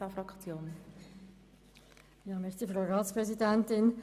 Wir kommen zu den Fraktionen.